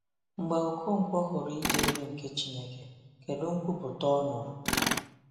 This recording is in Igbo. Mgbe Okonkwo hụrụ ịdị elu nke Chineke, kedu nkwupụta ọ nụrụ?